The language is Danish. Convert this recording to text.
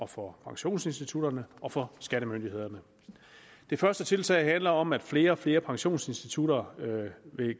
for pensionsinstitutterne og for skattemyndighederne det første tiltag handler om at flere og flere pensionsinstitutter